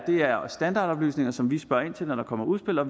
standardoplysninger som vi spørger ind til når der kommer udspil og